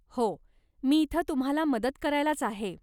हो, मी इथं तुम्हाला मदत करायलाच आहे.